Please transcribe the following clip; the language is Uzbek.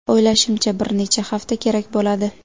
O‘ylashimcha, bir necha hafta kerak bo‘ladi.